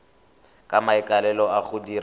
ka maikaelelo a go dira